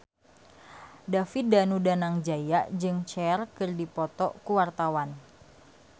David Danu Danangjaya jeung Cher keur dipoto ku wartawan